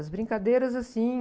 As brincadeiras, assim...